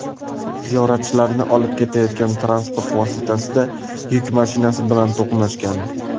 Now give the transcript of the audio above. Ziyoratchilarni olib ketayotgan transport vositasida yuk mashinasi bilan to‘qnashgan.